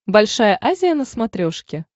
большая азия на смотрешке